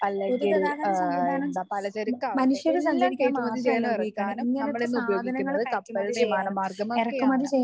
അല്ലെങ്കിൽ ആഹ് എന്താ പലചരക്കാവട്ടെ എല്ലാം കയറ്റുമതി ചെയ്യാനും ഇറക്കാനും നമ്മൾ ഇന്ന് ഉപയോഗിക്കുന്നത് കപ്പലിനെയും വിമാനമാർഗം ഒക്കെയാണ്.